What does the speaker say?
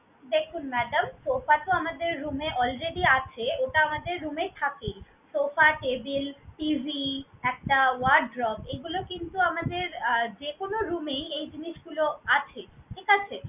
দেখুন madam sofa তো আমাদের room এ already আছে, ওটা আমাদের room এই থাকে। sofa, table TV একটা wardrobe এগুলো কিন্তু আমাদের আহ যেকোনো room এই এই জিনিসগুলো আছে, ঠিক আছে?